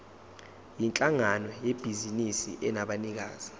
yinhlangano yebhizinisi enabanikazi